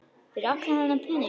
Fyrir allan þennan pening?